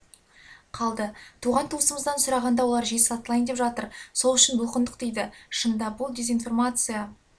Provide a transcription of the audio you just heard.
қалды туған-туысымыздан сұрағанда олар жер сатылайын деп жатыр сол үшін бұлқындық дейді шынында бұл дезинформация